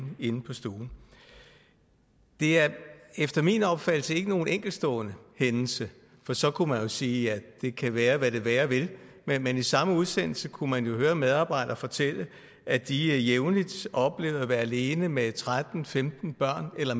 inde på stuen det er efter min opfattelse ikke nogen enkeltstående hændelse for så kunne man jo sige at det kan være hvad det være vil men i samme udsendelse kunne man jo høre andre medarbejdere fortælle at de jævnligt oplevede at være alene med tretten til femten børn eller